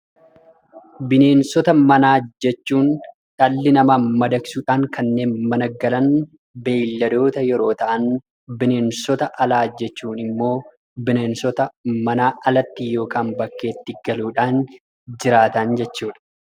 Bineensota manaa jechuun dhalli namaa madaqsuudhaan kanneen mana galan, beeyladoota, yeroo ta'an bineensota alaa jechuun immoo bineensota manaa alatti (bakkeetti) galuudhaan jiraatan jechuu dha.